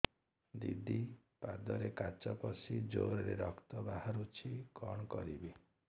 ଦିଦି ପାଦରେ କାଚ ପଶି ଜୋରରେ ରକ୍ତ ବାହାରୁଛି କଣ କରିଵି